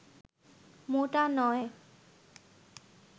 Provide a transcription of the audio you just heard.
মোটা নয়